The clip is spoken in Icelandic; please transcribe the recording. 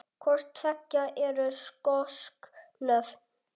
Hvort tveggja eru skosk nöfn.